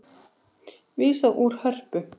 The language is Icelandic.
Vísað úr Hörpu